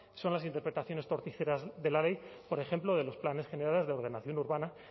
son las interpretaciones torticeras de la ley por ejemplo de los planes generales de ordenación urbana